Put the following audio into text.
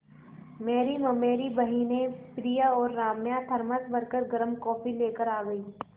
मेरी ममेरी बहिनें प्रिया और राम्या थरमस भर गर्म कॉफ़ी लेकर आ गईं